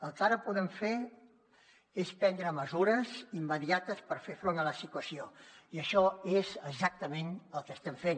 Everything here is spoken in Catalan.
el que ara podem fer és prendre mesures immediates per fer front a la situació i això és exactament el que estem fent